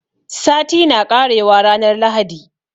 Sati na ƙarewa ranar lahadi